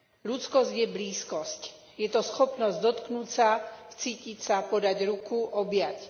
Ľudskosť je blízkosť, je to schopnosť dotknúť sa, vcítiť sa, podať ruku, objať.